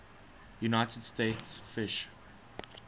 united states fish